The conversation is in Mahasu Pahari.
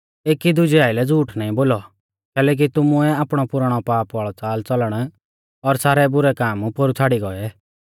एकी दुजै आइलै झ़ूठ नाईं बोलौ कैलैकि तुमुऐ आपणौ पुराणौ पाप वाल़ौ च़ालच़लण और सारै बुरै काम पोरु छ़ाड़ी गौऐ